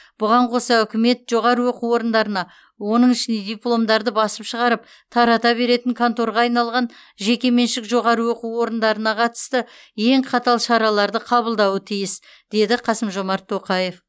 бұған қоса үкімет жоғары оқу орындарына оның ішінде дипломдарды басып шығарып тарата беретін конторға айналған жекеменшік жоғарғы оқу орындарына қатысты ең қатал шараларды қабылдауы тиіс деді қасым жомарт тоқаев